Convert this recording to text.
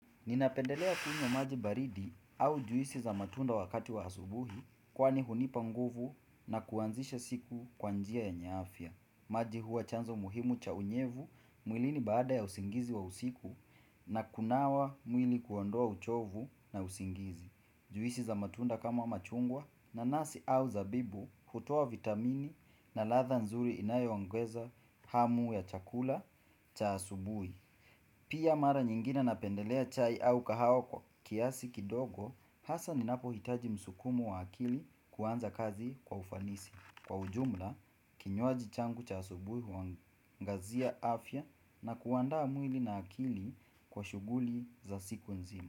Ninapendelea kunywa maji baridi au juisi za matunda wakati wa asubuhi kwani hunipa nguvu na kuanzisha siku kwa njia yenye afya. Maji huwa chanzo muhimu cha unyevu mwilini baada ya usingizi wa usiku na kunawa mwili kuondoa uchovu na usingizi. Juisi za matunda kama machungwa na nasi au zabibu kutoa vitamini na ladha nzuri inayoongeza hamu ya chakula cha asubuhi. Pia mara nyingine na pendelea chai au kahawa kwa kiasi kidogo, hasa ni napo hitaji msukumo wa akili kuanza kazi kwa ufanisi. Kwa ujumla, kinywaji changu cha asubuhi huangazia afya na kuandaa mwili na akili kwa shughuli za siku nzima.